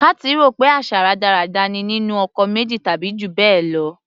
Kathy rò pé àṣà rádaràda ni nínú ọkọ méjì tàbí jù bẹ́ẹ̀ lọ.